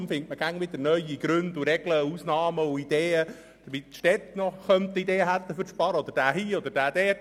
Deshalb findet man immer wieder neue Gründe, Regeln, Ausnahmen und Sparideen seitens der Städte oder von diesen oder jenen.